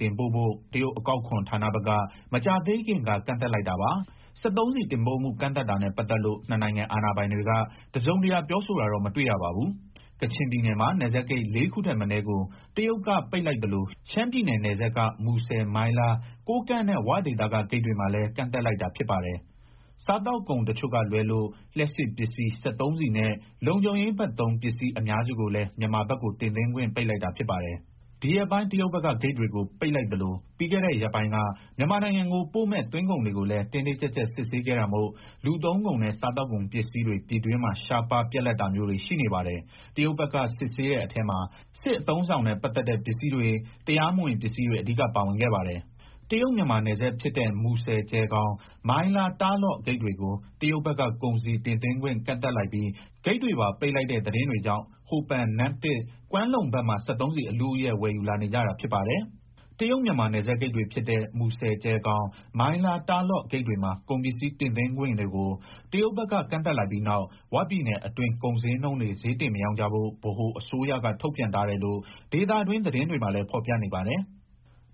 တင်ပို့ဖို့ တရုတ်အကောက်အခွန် ဌာနဘက်က မကြာသေးခင်က ကန့်သတ်လိုက်တာပါ။ စက်သုံးဆီ တင်ပို့မှု ကန့်သတ်တာနဲ့ ပတ်သက်လို့ ၂ နိုင်ငံ အာဏာပိုင်တွေက တစုံတရာ ပြောဆိုတာတော့ မတွေ့ရပါဘူး။ ကချင်ပြည်နယ်မှာ နယ်စပ်ဂိတ် ၄ခုထက်မနည်းကို တရုတ်က ပိတ်လိုက်သလို ရှမ်းပြည်နယ်နယ်စပ်က မူဆယ်၊ မိုင်းလား၊ ကိုးကန့်နဲ့ 'ဝ'ဒေသက ဂိတ်တွေမှာလည်း ကန့်သတ်လိုက်တာ ဖြစ်ပါတယ်။ စားသောက်ကုန်တချို့ကလွဲလို့ လျှပ်စစ်ပစ္စည်း၊ စက်သုံးဆီနဲ့ လုံခြုံရေးဘက်သုံး ပစ္စည်းအများစုကိုလည်း မြန်မာဘက်ကို တင်သွင်းခွင့် ပိတ်လိုက်တာ ဖြစ်ပါတယ်။ ဒီရက်ပိုင်း တရုတ်ဘက်က ဂိတ်တွေကိုပိတ်လိုက်သလို ပြီးခဲ့တဲ့ရက်ပိုင်းက မြန်မာနိုင်ငံကိုပို့မဲ့ သွင်းကုန်တွေကို တင်းတင်ကြပ်ကြပ် စစ်ဆေးခဲ့တာမို့ လူသုံးကုန်နဲ့ စားသောက်ကုန်ပစ္စည်းတွေ ပြည်တွင်းမှာ ရှားပါး၊ ပြတ်လပ်တာမျိုးတွေ ရှိနေပါတယ်။ တရုတ်ဘက်က စစ်ဆေးတဲ့အထဲမှာ စစ်အသုံးအဆောင်နဲ့ ပတ်သက်တဲ့ ပစ္စည်းတွေ၊ တရားမဝင် ပစ္စည်းတွေ အဓိကပါဝင်ခဲ့ပါတယ်။ တရုတ် - မြန်မာ နယ်စပ်ဖြစ်တဲ့ မူဆယ် - ကျယ်ခေါင်၊ မိုင်းလား - တာ့လော့ဂိတ်တွေကို တရုတ်ဘက်က ကုန်စည်တင်သွင်းခွင့် ကန့်သတ်လိုက်ပြီး ဂိတ်တွေပါပိတ်လိုက်တဲ့သတင်းတွေကြောင့် ဟိုပန်၊ နမ့်တစ်၊ ကွမ်းလုံဘက်မှာ စက်သုံးဆီ အလုအယက် ဝယ်ယူလာနေကြတာဖြစ်ပါတယ်။ တရုတ် - မြန်မာ နယ်စပ်ဂိတ်တွေဖြစ်တဲ့ မူဆယ် - ကြယ်ခေါင်၊ မိုင်းလား - တာ့လောဂိတ်တွေမှာ ကုန်ပစ္စည်း တင်သွင်းခွင့်တွေကို တရုတ်ဘက်က ကန့်သတ်လိုက်ပြီးနောက် "ဝ" ပြည်နယ်အတွင်း ကုန်ဈေးနှုန်းတွေ ဈေးတင်မရောင်းကြဖို့ ဗဟိုအစိုးရက ထုတ်ပြန်ထားတယ်လို့ ဒေသတွင်း သတင်းတွေမှာလည်း ဖော်ပြနေပါတယ်။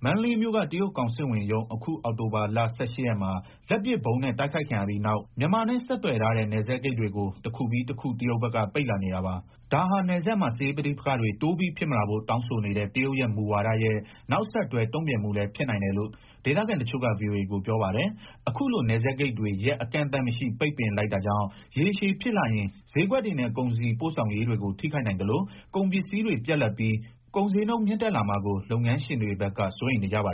မန္တလေးမြို့က တရုတ်ကောင်စစ်ဝန်ရုံး အခုအောက်တိုဘာလ ၁၈ရက်မှာ လက်ပစ်ဗုံးနဲ့ တိုက်ခိုက်ခံရပြီးနောက် မြန်မာနဲ့ ဆက်သွယ်ထားတဲ့ နယ်စပ်ဂိတ်တွေကို တခုပြီးတခု တရုတ်ဘက်က ပိတ်လာနေတာပါ။ ဒါဟာ နယ်စပ်မှာ စစ်ရေးပဋိပက္ခတွေ တိုးပြီးဖြစ်မလာဖို့ တောင်းဆိုနေတဲ့ တရုတ်ရဲ့ မူဝါရဲ့ နောက်ဆက်တွဲ တုံ့ပြန်မှုလည်း ဖြစ်နိုင်တယ်လို့ ဒေသခံတချို့က ဗွီအိုအေကို ပြောပါတယ်။ အခုလို နယ်စပ်ဂိတ်တွေ ရက်အကန့်အသတ်မရှိ ပိတ်ပင်လိုက်တာကြောင့် ရေရှည်ဖြစ်လာရင် ဈေးကွက်တွေနဲ့ ကုန်စည်ပို့ဆောင်ရေးတွေကို ထိခိုက်နိုင်သလို ကုန်ပစ္စည်းတွေပြတ်လပ်ပြီး ကုန်ဈေးနှုန်း မြင့်တက်လာမှာကို လုပ်ငန်းရှင်တွေဘက်က စိုးရိမ်နေကြပါ